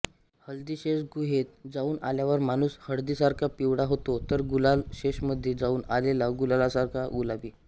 हल्दीशेष गुहेत जाउन आल्यावर माणुस हळदीसारखा पिवळा होतो तर गुलालशेषमधे जाउन आलेला गुलालासारखा गुलाबी